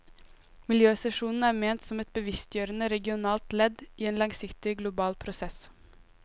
Miljøsesjonen er ment som et bevisstgjørende regionalt ledd i en langsiktig global prosess.